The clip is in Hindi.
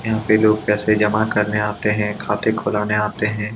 यहाँ पे लोग पैसे जमा करने आते है खाते खुलाने आते है।